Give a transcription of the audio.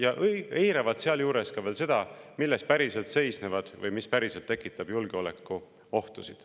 Nad eiravad sealjuures ka veel seda, milles päriselt seisnevad julgeolekuohud või mis neid päriselt tekitab.